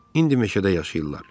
İndi meşədə yaşayırlar.